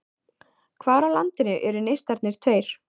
Hvar á landinu eru Neistarnir tveir?